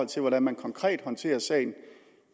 til hvordan man konkret håndterer sagen